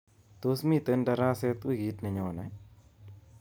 Tos miten daraset wikit nenyone?